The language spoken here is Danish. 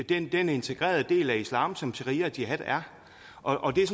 den integrerede del af islam som sharia og jihad er og det er